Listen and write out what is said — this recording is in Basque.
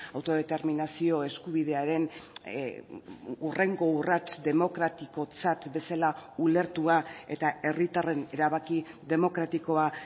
autodeterminazio eskubidearen hurrengo urrats demokratikotzat bezala ulertua eta herritarren erabaki demokratikoa